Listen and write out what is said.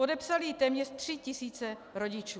Podepsaly ji téměř tři tisíce rodičů.